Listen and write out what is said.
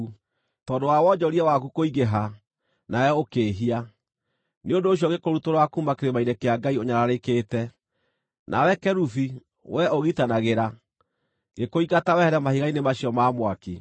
Tondũ wa wonjoria waku kũingĩha, nawe ũkĩĩhia. Nĩ ũndũ ũcio ngĩkũrutũrũra kuuma kĩrĩma-inĩ kĩa Ngai ũnyararĩkĩte, na wee kerubi, wee ũgitanagĩra, ngĩkũingata wehere mahiga-inĩ macio ma mwaki.